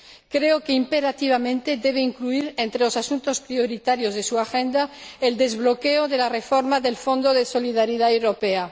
Creo que, imperativamente, debe incluir entre los asuntos prioritarios de su agenda el desbloqueo de la reforma del Fondo de Solidaridad europeo.